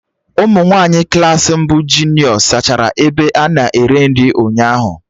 Ụmụ nwaanyị Klassị mbụ nke junio zachara ebe a na-eri nri ụnyaahụ